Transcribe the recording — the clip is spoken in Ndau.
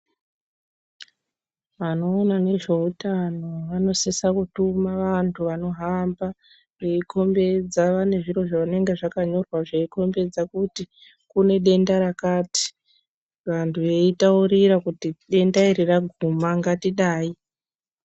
Vanoona nezveutano vanosisa kutuma vantu vanohamba veikombedzana nezviro zvinenge zvakanyorwa zvinokombedza kuti kune denda rakati. Vantu veitaurira kuti denda iri raguma ngatidai.